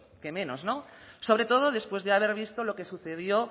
qué menos no sobre todo después de haber visto lo que sucedió